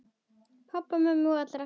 Pabba og mömmu og allra.